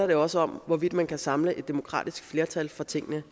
det også om hvorvidt man kan samle et demokratisk flertal for tingene